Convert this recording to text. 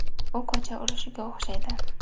U ko‘cha urushiga o‘xshaydi.